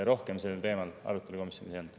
Rohkem sellel teemal arutelu komisjonis ei olnud.